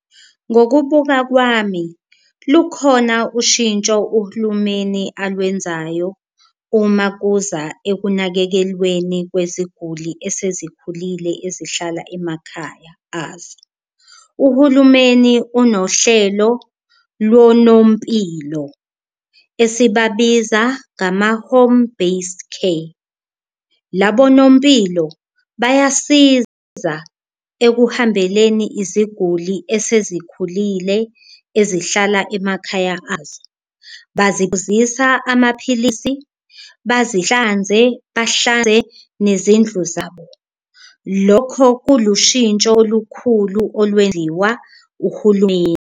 Ngokubuka kwami lukhona ushintsho uhulumeni alwenzayo uma kuza ekunakekelweni kweziguli esezikhulile ezihlala emakhaya azo, uhulumeni unohlelo lonompilo esibabiza kama-home based care. Labo nompilo bayasiza ekuhambeleni iziguli esezikhulile ezihlala emakhaya azo, baziphuzisa amaphilisi, bazihlanze, bahlanze nezindlu zabo lokho kulushintsho olukhulu olwenziwa uhulumeni.